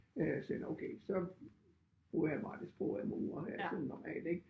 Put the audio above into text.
Øh sagde nåh okay så bruger jeg bare det sprog jeg bruger her sådan normalt ik